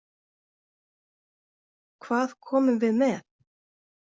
Hvað komum við með?